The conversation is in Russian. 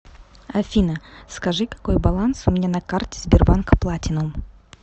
афина скажи какой баланс у меня на карте сбербанк платинум